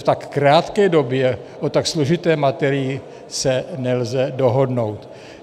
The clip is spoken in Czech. V tak krátké době o tak složité materii se nelze dohodnout.